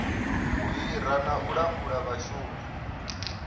hira na u langula vhashumi